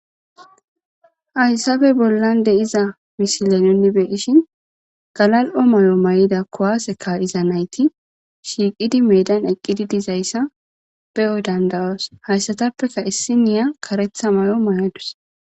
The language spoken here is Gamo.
aysabe bollan de iza mishile nunni beeishin galal7o may7o may7ida kowaaseka iza nayti shiiqidi meedan eqqidi dizayssa beyo dandawoos hayssatappeka issiniya karetha may7o may7odus